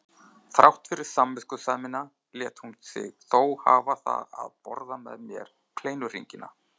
Þrátt fyrir samviskusemina lét hún sig þó hafa það að borða með mér kleinuhringina.